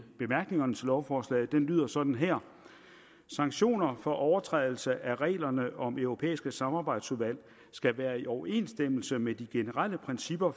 bemærkningerne til lovforslaget lyder sådan her sanktioner for overtrædelse af reglerne om europæiske samarbejdsudvalg skal være i overensstemmelse med de generelle principper